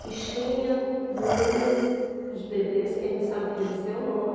Fichinha, número, os bebês, quem não sabia dizer o nome.